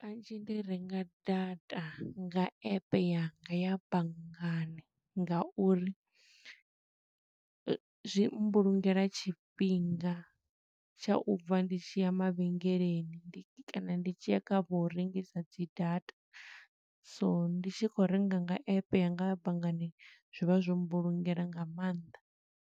Kanzhi ndi renga data nga app yanga ya banngani, nga uri zwi mbulungela tshifhinga tsha u bva ndi tshi ya mavhengeleni kana ndi tshi ya kha vho u rengisa dzi data. So ndi tshi khou renga nga app yanga ya banngani, zwi vha zwo mbulungela nga maanḓa.